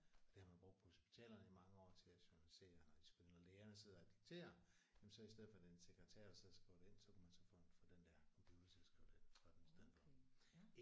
Og det har man brugt på hospitalerne i mange år til at journalisere når de skulle ind og lægerne sidder og dikterer jamen så i stedet for at det er en sekretær der sidder og skriver det ind så kunne man så få en få den der computer til at skrive det ind og gøre det i stedet for